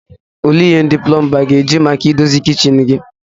Olee ihe ndị plomba ga-eji maka idozi kichin sinki?